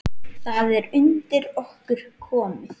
Það er undir okkur komið.